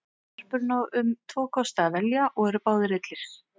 Garpurinn á um tvo kosti að velja og eru báðir illir.